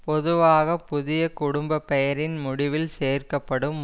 பொதுவாக புதிய குடும்ப பெயரின் முடிவில் சேர்க்க படும்